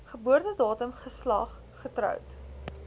geboortedatum geslag getroud